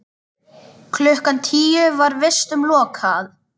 Klukkan tíu var vistum lokað.